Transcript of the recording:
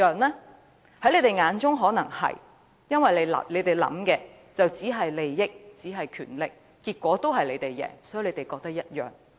在他們眼中可能是，因為他們想到的只有利益和權力，所以便認為結果一樣。